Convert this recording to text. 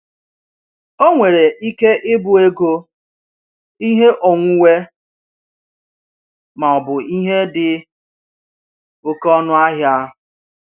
Ọ nwere ike ịbụ ego, ihe onwunwe, ma ọ bụ ihe dị oké ọnụ ahịa.